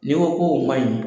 N'i ko o man ɲin